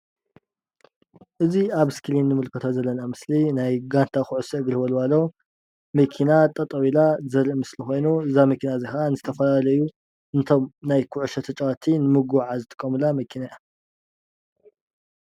እዚ ኣብ እስክሪን እንምልከቶ ዘለና ምስሊ ናይ ጋንታ ኩዕሶ እግሪ ወልዋሎ መኪና ጠጠው ኢላ ዘርኢ ምስሊ ኮይኑ እዛ መኪና እዚ ከዓ ንዝተፈላለዩ ነቶም ናይ ኩዕሾ ተፃወቲ ንምጉዕዓዝ ዝጥቀሙላ መኪና እያ፡፡